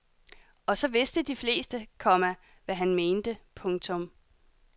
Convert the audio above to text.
Og så vidste de fleste, komma hvad han mente. punktum